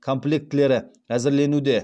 комплектілері әзірленуде